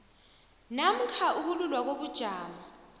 namkha ukululwa kobujamo